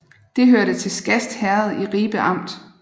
Det hørte til Skast Herred i Ribe Amt